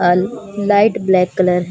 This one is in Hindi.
a light black colour --